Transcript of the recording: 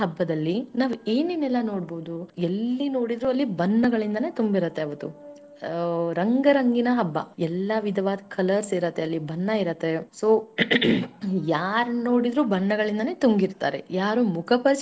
ಬಣ್ಣಗಳ ಹಬ್ಬದಲ್ಲಿ ನಾವ ಏನೇನೆಲ್ಲಾ ನೋಡಬಹುದು ಎಲ್ಲಿ ನೋಡಿದ್ರು ಅಲ್ಲಿ ಬಣ್ಣಗಳಿನ್ದನ ತುಂಬಿರತೇ ಅವತ್ತು ರಂಗ ರಂಗಿನ ಹಬ್ಬ ಎಲ್ಲ ವಿಧವಾದ colours ಇರತ್ತೆ ಅಲ್ಲಿ ಬಣ್ಣ ಇರತ್ತೆ so ಯಾರನ್ನ ನೋಡಿದ್ರು ಬಣ್ಣಗಳಿಂದಲೇ ತುಂಬಿರ್ತಾರೆ ಯಾರು ಮುಖ.